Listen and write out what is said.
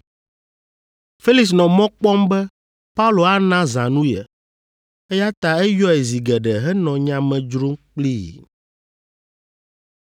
Felix nɔ mɔ kpɔm be Paulo ana zãnu ye, eya ta eyɔe zi geɖe henɔ nya me dzrom kplii.